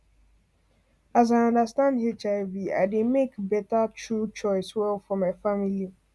as i understand hiv i dey make better true choice well for my family